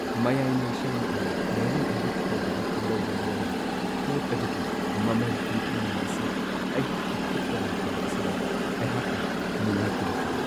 ꯃꯌꯥꯏ- ꯂꯣꯏꯁꯪꯅ ꯑꯣꯏꯅ ꯃꯔꯨꯑꯣꯏꯕ ꯊꯧꯗꯥꯡ ꯂꯧꯕ ꯃꯔꯝꯅ ꯄꯣꯠ ꯑꯗꯨꯒꯤ ꯃꯃꯜ ꯍꯟꯊꯍꯟꯕ ꯑꯁꯤ ꯑꯩꯍꯥꯛꯀꯤ ꯈꯨꯠꯇ ꯂꯩꯇꯕ ꯑꯁꯤꯗ ꯑꯩꯍꯥꯛꯅ ꯅꯨꯡꯉꯥꯏꯇꯕ ꯐꯥꯎꯋꯤ ꯫